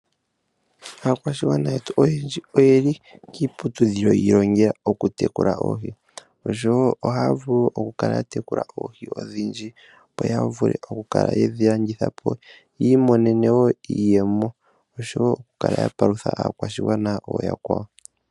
Aakwashigwana yetu oyendji oyeli kiiputudhilo yoku ilongela oku tekula oohi . Ohaya vulu okukala ya tekula oohi odhindji opo yavule okukala yedhi landitha po yi imonene iiyemo noshowo okukala ya tekula aakwashigwana yakwawo.